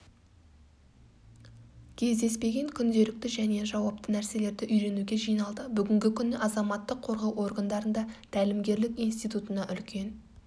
кездеспеген күнделікті және жауапты нәрселерді үйренуге жиналды бүгінгі күні азаматтық қорғау органдарында тәлімгерлік институтына үлкен